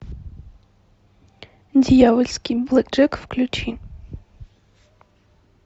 дьявольский блэкджек включи